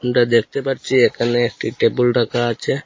আমরা দেখতে পারছি এখানে একটি টেবিল রাখা আছে।